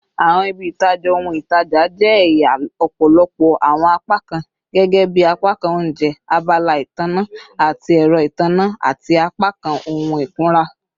Awọn ibi-itaja ohun-itaja jẹ ẹya ọpọlọpọ awọn apakan gẹgẹbi apakan ounjẹ, abala itanna ati ẹrọ itanna, ati apakan ohun ikunra